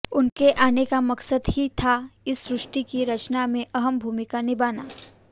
उनके आने का मकसद ही था इस सृष्टि की रचना में अहम भूमिका निभाना